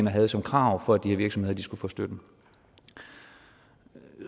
havde som krav for at de her virksomheder skulle få støtten